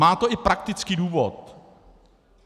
Má to i praktický důvod.